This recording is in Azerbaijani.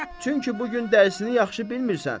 Çünki bu gün dərsini yaxşı bilmirsən.